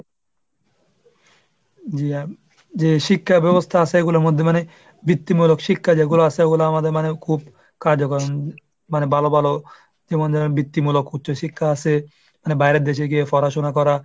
যে শিক্ষা ব্যবস্থা আছে এগুলোর মধ্যে মানে বৃত্তিমূলক শিক্ষা যেগুলো আছে ওগুলো আমাদের মানে খুব কার্যকর মানে ভালো ভালো জীবন যেন ত্তিমূলক উচ্চশিক্ষা আসে মানে বাইরের দেশে গিয়ে পড়াশোনা করা।